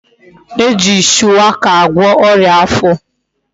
E ji shuwaka agwo oria afo